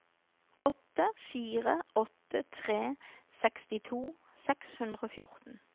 åtte fire åtte tre sekstito seks hundre og fjorten